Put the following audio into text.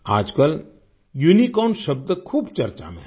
आज कल यूनिकॉर्न शब्द खूब चर्चा में है